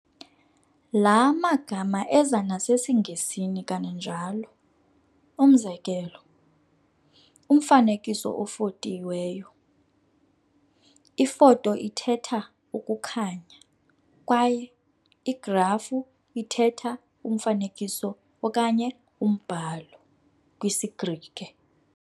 Laa magama eza nasesiNgesini kananjalo, umzekelo, "umfanekiso ofotiweyo", "ifoto-" ithetha "ukukhanya" "kwaye "-igrafu" ithetha "umfanekiso" okanye "umbhalo", kwisiGrike.